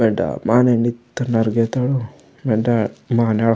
वेंडा माने नित्तोड़ अड़गेता ऊ वेंडा माने।